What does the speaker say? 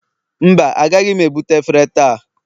mba, agaghị m ebute efere taa